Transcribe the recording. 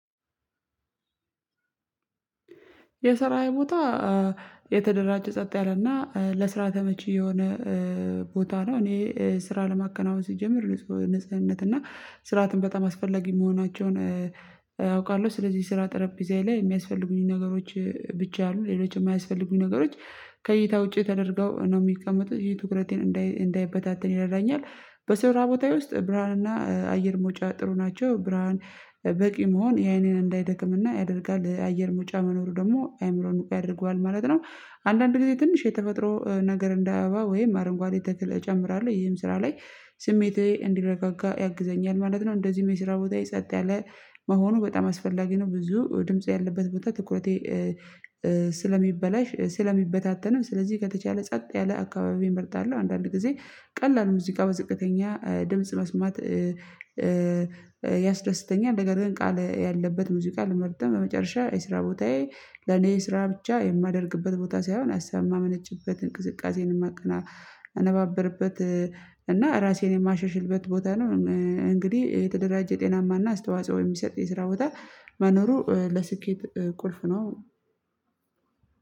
የሰራዬ ቦታ የተደራጀ፣ ጸጥ ያለና ለስራ ተመቺ የሆነ ቦታ ነው። እኔ ስራ ለማከናወን ስጀምር፤ ንጹ ንጽህነት እና ስርዓትን በጣም አስፈላጊ መሆናቸውን አውቃለሁ። ስለዚህ ስራ ጠረጴዛዬ ላይ የሚያስፈልጉኝን ነገሮች ብቻ አሉ። ሌሎች የማያስፈልጉኝ ነገሮች ከእይታ ውጪ ተደርገው ነው የሚቀመጡት። ይሄ ትኩረቴን እንዳይበታተን ይረዳኛል። ስራቦታዬ ውስጥ ብርሃን እና አየር መውጫ ጥሩ ናቸው። ብርሃን በቂ መሆን የአይኔን እንዳይደክምና ያደርጋል። የአየር መውጫ መኖሩ ደግሞ አይምሮን ንቁ ያደርገዋል ማለት ነው። አንዳንድ ጊዜ ትንሽ የተፈጥሮ ነገር እንዳአበባ ወይም አረንጓዴ እጨምራለሁ። ይሄም ስራ ላይ ስሜቴ እንዲረጋጋ ያግዘኛል ማለት ነው። እንደዚህም የስራ ቦታዬ ጸጥ ያለ መሆኑ በጣም አስፈላጊ ነው። ብዙ ድምጽ ያለበት ቦታ ትኩረቴ ስለሚበላሽ ስለሚበታተንም፤ ስለዚህ ከተቻለ ጸጥ ያለ አካባቢ እመርጣለሁ። አንዳንድ ጊዜ ቀላል ሙዚቃ በዝቅተኛ ድምጽ መስማት ያስደስተኛል፤ ነገር ግን ቃል ያለበት ሙዚቃ ልመርጥም በመጨረሻ የስራ ቦታዬ ለኔ ስራ ብቻ የማደርግበት ቦታ ሳይሆን፤ ሀሳብ ማመነጭበት፣ እንቅስቃሴዬን የማቀነባብርበት እና ራሴን የማሻሽልበት ቦታ ነው። እንግዲህ የተደራጀ ጤናማ እና አስተዋጽኦ የሚሰጥ የስራ ቦታ መኖሩ ለስኬት ቁልፉ ነው።